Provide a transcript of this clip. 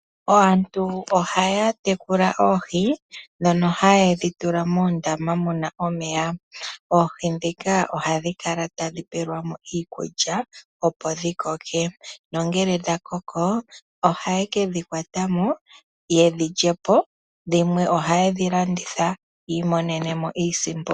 Aantu ohaya tekula oohi, ndhono haye dhi tula moondama mu na omeya. Oohi ndhika ohadhi kala tadhi pelwa mo iikulya, opo dhi koke. Ngele dha koko, ohaye ke dhi kwata mo ye dhi lye po, dhimwe ohaye dhi landitha yi imonene mo iisimpo.